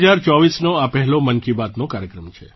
2024નો આ પહેલો મન કી બાતનો કાર્યક્રમ છે